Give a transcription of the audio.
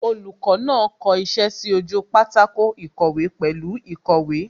Olùkọ́ náà kọ iṣẹ́ sí ojú pátákó ìkọ̀wé pẹ̀lú īkòwé